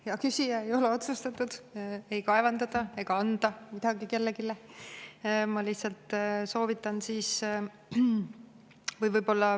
Hea küsija, ei ole otsustatud ei kaevandada ega anda midagi kellelegi.